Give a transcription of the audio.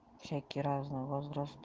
всякие разные возраст